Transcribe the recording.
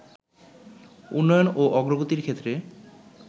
উন্নয়ন ও অগ্রগতির ক্ষেত্রে